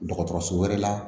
Dɔgɔtɔrɔso wɛrɛ la